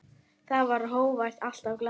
Þú varst hógvær, alltaf glaður.